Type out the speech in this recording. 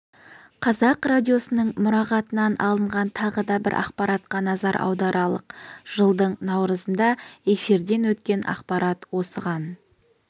қазақ радиосының мұрағатынан алынған тағы да бір ақпаратқа назар аударалық жылдың наурызында эфирден өткен ақпарат осыған